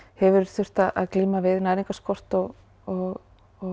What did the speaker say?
hefur þurft að glíma við næringarskort og og og